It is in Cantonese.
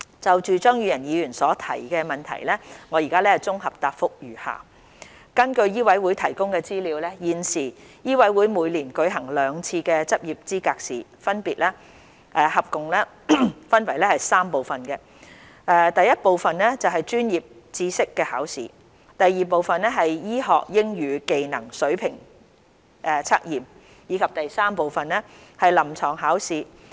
就張宇人議員所提出的質詢，我現綜合答覆如下：根據醫委會提供的資料，現時醫委會每年舉行兩次執業資格試，共分為3部分，分別為第一部分：專業知識考試、第二部分：醫學英語技能水平測驗，以及第三部分：臨床考試。